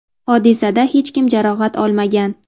hodisada hech kim jarohat olmagan.